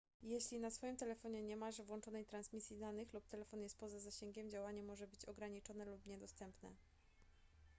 jeśli na swoim telefonie nie masz włączonej transmisji danych lub telefon jest poza zasięgiem działanie może być ograniczone lub niedostępne